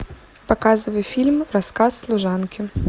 показывай фильм рассказ служанки